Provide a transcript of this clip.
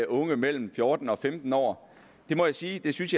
unge mellem fjorten og femten år det må jeg sige at jeg synes